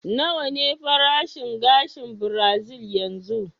Nawa ne farashin gashin birazil yanzu?